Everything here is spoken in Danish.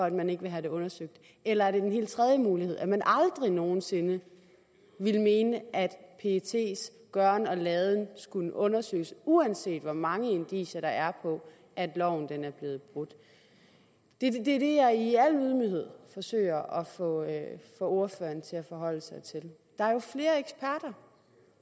at man ikke vil have det undersøgt eller er det en helt tredje mulighed nemlig at man aldrig nogen sinde ville mene at pets gøren og laden skulle undersøges uanset hvor mange indicier der er på at loven er blevet brudt det er det jeg i al ydmyghed forsøger at få ordføreren til at forholde sig til der